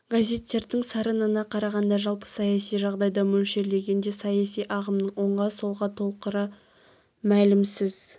газеттердің сарынына қарағанда жалпы саяси жағдайды мөлшерлегенде саяси ағымның оңға солға толқыры мәлімсіз